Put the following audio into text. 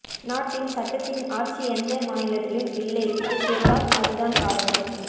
நாட்டில் சட்டத்தின் ஆட்சி எந்த மாநிலத்திலும் இல்லை இதெக்கெல்லாம் அது தான் காரணம்